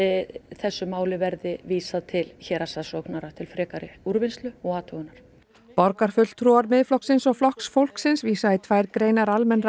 þessu máli verði vísað til héraðssaksóknara til frekari úrvinnslu og athugunar borgarfulltrúar Miðflokksins og Flokks fólksins vísa í tvær greinar almennra